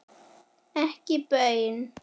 Ekki baun.